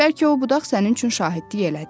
Bəlkə o budaq sənin üçün şahidlik elədi.